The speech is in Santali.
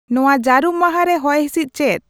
ᱱᱚᱶᱟ ᱡᱟᱹᱨᱩᱢ ᱢᱟᱦᱟ ᱨᱮ ᱦᱚᱭᱦᱤᱸᱥᱤᱫ ᱪᱮᱫ